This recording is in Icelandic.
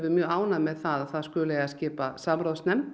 mjög ánægð með það að það skuli eiga að skipa samráðsnefnd